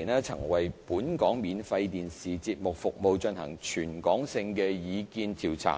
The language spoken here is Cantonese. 年曾為本地免費電視節目服務進行全港性的意見調查。